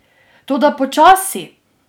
Toda, počasi!